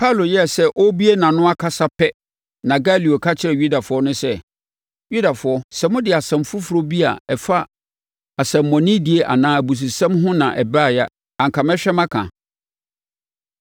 Paulo yɛɛ sɛ ɔrebue nʼano akasa pɛ na Galio ka kyerɛɛ Yudafoɔ no sɛ, “Yudafoɔ, sɛ mode asɛm foforɔ bi a ɛfa nsɛmmɔnedie anaa abususɛm ho na ɛbaeɛ a, anka mɛhwɛ maka.